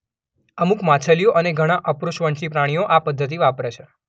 અમુક માછલીઓ અને ઘણાં અપૃષ્ઠવંશી પ્રાણીઓ આ પદ્ધતિ વાપરે છે.